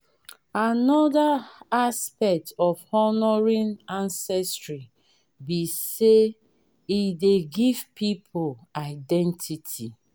anoda aspect of honouring ancestry be sey e dey give pipo identity